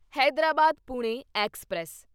Hyderabad Pune express